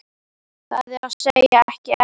Það er að segja, ekki enn.